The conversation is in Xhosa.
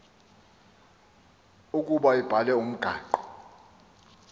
ukuba ibhale umgaqo